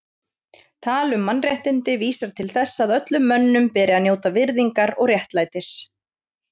Tal um mannréttindi vísar til þess að öllum mönnum beri að njóta virðingar og réttlætis.